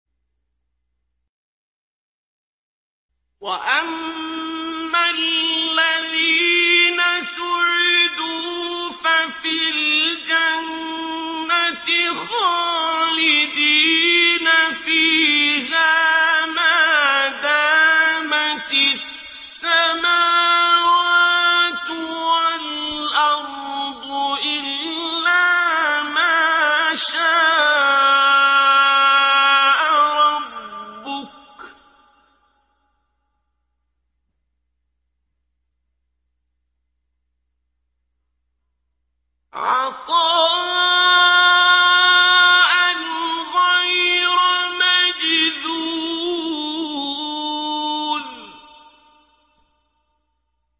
۞ وَأَمَّا الَّذِينَ سُعِدُوا فَفِي الْجَنَّةِ خَالِدِينَ فِيهَا مَا دَامَتِ السَّمَاوَاتُ وَالْأَرْضُ إِلَّا مَا شَاءَ رَبُّكَ ۖ عَطَاءً غَيْرَ مَجْذُوذٍ